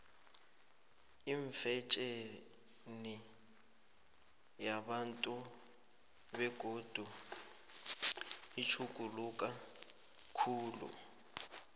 ifetjheni yabantu bengubo itjhuguluka khulu